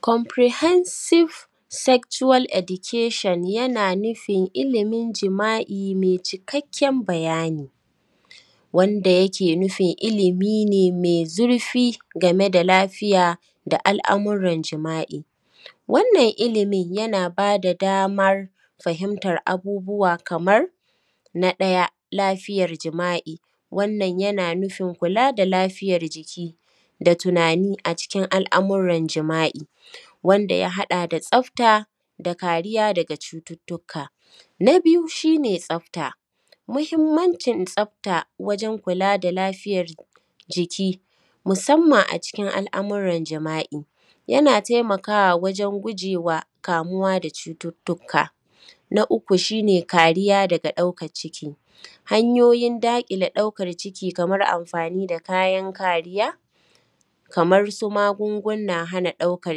Comprehensive sexual education yana nufin ilimin jima’i mai cikakken bayani, wanda yake nufin ilimi ne mai zurfi game da lafiya da al’amuran jima’i. wannan ilimin yana ba da damar fahimtar abubuwa kamar: na ɗaya, lafiyar jima’i: wannan yana nufin kula da lafiyar jiki da tunani a ckin al’amuran jima’i, wanda ya haɗa da tsafta da kariya daga cututtuka. Na biyu shi ne tsafta: muhimmancin tsafta wajen kula da lafiyar jiki musamman a cikin al’amuran jima’i, yana taimakawa wajen guje wa kamuwa da cututtuka. Na uku shi ne kariya daga ɗaukar ciki: hanyoyin daƙile ɗaukar ciki kamar amfani da kayan kariya kamar su magungunan hana ɗaukar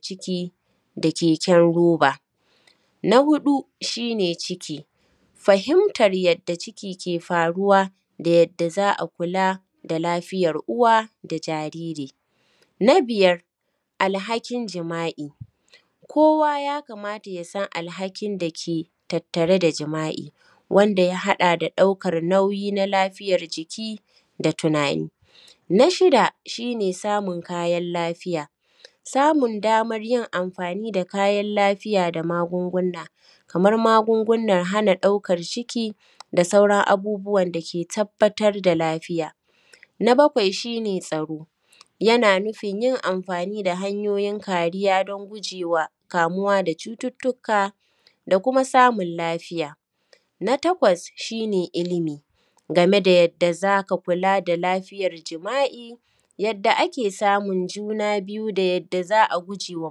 ciki da keken roba. Na huɗu shi ne ciki: fahimtar yadda ciki ke faruwa da yadda za a kula a lafiyar uwa da jariri. Na biyar, alhakin jima’i: kowa ya kamata ya san alhakin da ke tattare da jima’i,, wanda ya haɗa da ɗaukar nauyi na lafiyar jiki da tunani. Na shida, shi ne samun kayan lafiya: samun damar yin amfani da kayan lafiya da magunguna, kamar magungunan hana ɗaukar ciki da sauran abubuwan da ke tabbatar da lafiya. Na bakwai, shi ne tsaro: yana nufin yin amfani da kayan kariya don guje wa kamuwa da cututtuka da kuma samun lafiya. Na tkawas, shi ne ilimi, game da yadda za ka kula da lafiyar jima’i, yadda ake samun juna biyu da yadda za a guje wa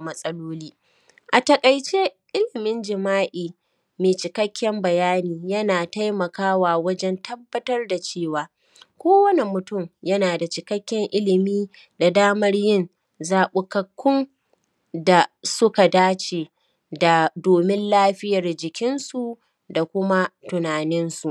matsaloli. A taƙaice, ilimin jima’i mai cikakken bayani yana taimakawa wajen tabbatar da cewa, kowane mutum yana cikakken ilimi da damar yin zaɓukakkun da suka dace da domin lafiyar jikinsu da kuma tunaninsu.